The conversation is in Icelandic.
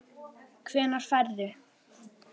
Hvenær ferðu?